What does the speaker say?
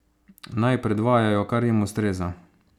Naj predvajajo, kar jim ustreza.